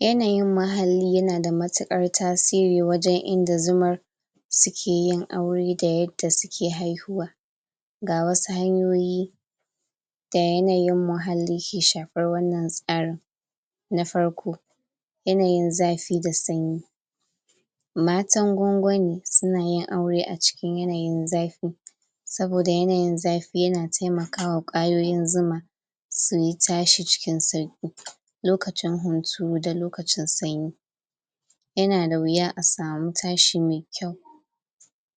yanayin muhalli yana da matuƙar tasirin wajen inda zumar sukeyin aure da yanda suke haihuwa ga wasu hanyoyi da yanayin muhalli ke shafan wannan tsarin na farko yanayin zafi da sanyi matan gwangwani suna yin aure a cikin yanayin zafi saboda yanayin zafi yana taimakawa kwayoyoyin zuma su tashi cikin sauki lokacin hunturu da lokacin sanyi yana da wuya a sami tashi mai kyau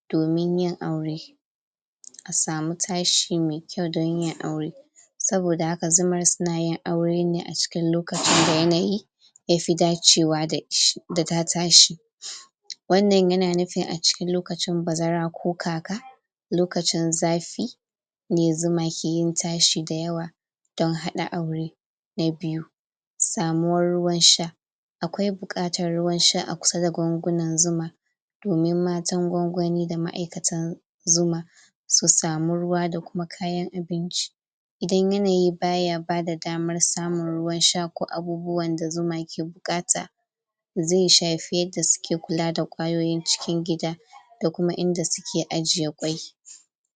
domin yin aure ka sami tashi mai kyau don yin aure saboda haka zumar sunayin aure ne a cikin lokaci da yanayi yafi dacewa dash.. da ta tashi wannan yana nufin a cikin lokacin bazara ko kaka lokacin zafi ne zuma ke yin tashi da yawa don haɗa aure. na biyu, samuwar ruwan sha akwai bukatar ruwan sha a kusa da gwangwunan zuma domin matan gwangwani da ma'aikatan zuma su sami ruewa da kuma kayan abinci idan yanayi baya bada damar samun ruwan sha ko abubuwan da zuma ke buƙata zai shafi yanda suke kula da kwayoyin cikin gida da kuma inda suke ajiye kwai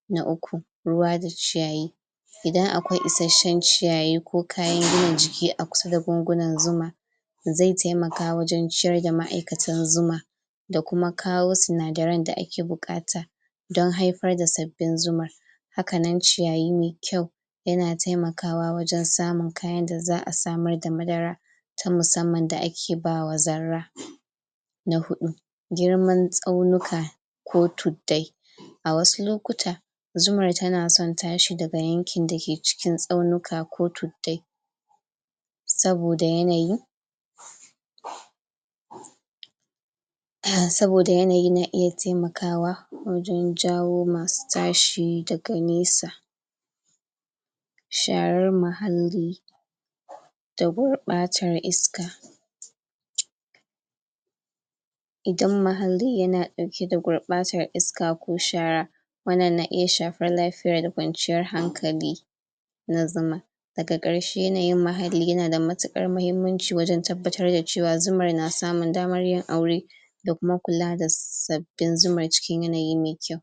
na uku ruwa da ciyayi idan akwai isasshen ciyayi ko kayan gina jiki a kusa da gwangunan zuma zai taimaka wajen ciyar da ma'aikatan zuma da kuma kawo sinadaran da ake buƙata don haifar da sabbin zuman hakannan ciyayi mai kyau yana taimakawa wajen samun kayan da za'a samar da madara ta musamman da ake bawa zarra na huɗu girman tsaunuka ko tuddai a wasu lokuta zumar tana son tashi daga a yankin da ke cikin tsaunuka ko tuddai saboda yanayi? ah saboda yanayi na iya taimakawa wajen jawo masu tashi daga nesa sharar muhalli da gurɓatar iska? idan muhalli yana ɗauke da gurɓatar iska ko shara wannan ta iya shafar lafiya da kwanciyar hankali na zuma daga ƙarshe yanayin muhalli yana da maƙuƙar mahimmanci wajen tabbatar da cewar zumar na samun damar yin aure da kuma kula da sabbin zuman cikin yanayi mai kyau